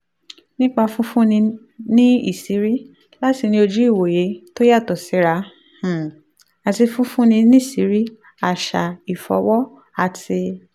nípa fífúnni níṣìírí láti ní ojú ìwòye tó yàtọ̀ síra um àti fífúnni níṣìírí àṣà ìfọ̀wọ̀ àti